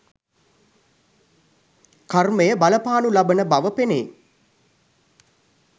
කර්මය බලපානු ලබන බව පෙනේ